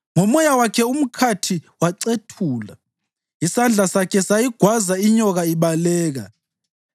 Ngomoya wakhe umkhathi wacethula; isandla sakhe sayigwaza inyoka ibaleka.